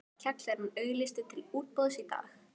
Kjallarinn auglýstur til útboðs í dag.